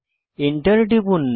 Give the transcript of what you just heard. enter টিপুন